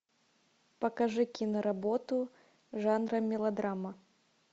покажи киноработу жанра мелодрама